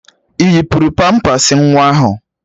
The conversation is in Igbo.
Ị yipuru pampas nwa ahụ?